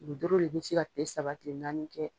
Ni doro de bɛ se ka kile saba kile naani kɛ.